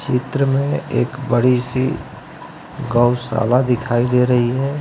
चित्र में एक बड़ी सी गौशाला दिखाई दे रही है।